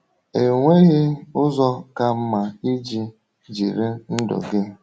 Enweghị ụzọ ka mma iji jiri ndụ gị.